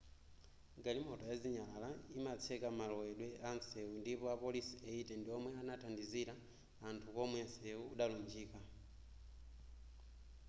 galimoto ya zinyalala yimatseka malowedwe atsewu ndipo apolisi 80 ndiwomwe anathandizira anthu komwe nseu udalunjika